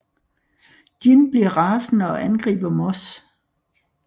Gin bliver rasende og angriber Moss